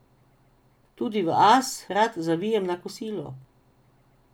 Tudi v As rad zavijem na kosilo.